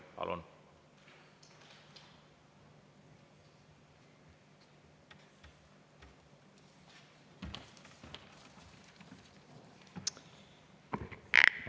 Palun!